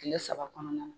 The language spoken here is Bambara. Kile saba kɔnɔna na